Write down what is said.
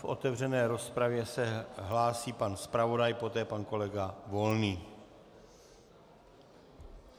V otevřené rozpravě se hlásí pan zpravodaj, poté pan kolega Volný.